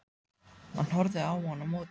Hann horfði á hann á móti.